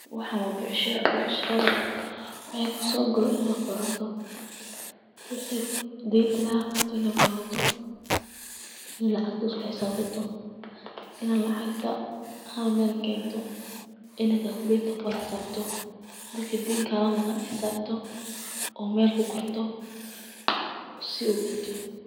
Waxan waa becshira, becshirada wixi kusogalo inad qoroto, wixi denta laga qaato inad qoroto iyo lacag isku xisabsato, ina lacagta hal Mel kento, ina calculator kuwada xisabto, dadka deen kala maqan xisabto od Mel kuqorto oo si ogaato